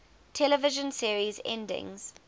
television series endings